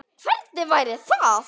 Hvernig væri það?